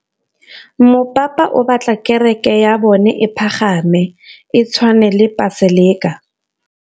Mopapa o batla kereke ya bone e pagame, e tshwane le paselika.